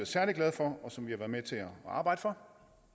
særlig glade for og som vi har været med til at arbejde for